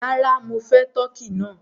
Ràrà, mọ fẹ̀ Tọkì náà